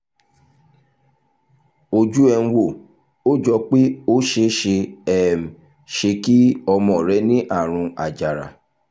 ojú ẹ̀ ń wò ó jọ pé ó ṣeé ṣeé um ṣe kí ọmọ rẹ ní àrùn àjàrà